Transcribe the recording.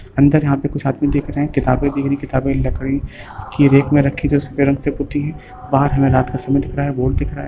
अन्दर यहां पे कुछ आदमी दिख रहे है किताबें दिख रहे है किताबें लकड़ी की रैक मे रखी जो सफेद रंग से पुति है बाहर हमे रात का समय दिख रहा है बोर्ड दिख रहा है।